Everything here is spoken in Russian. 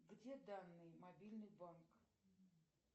где данные мобильный банк